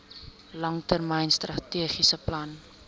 langtermyn strategiese plan